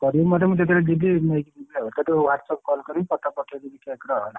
କରିବୁ ମତେ ଯେତେବେଳେ ଜୀବିନେଇକି ଯିବି ଆଉ ତତେ WhatsApp call କଲ କରିବି photo ପଠେଇଦେବି ହେଲା।